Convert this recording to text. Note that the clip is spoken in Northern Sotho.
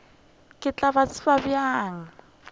ke tla ba tseba bjang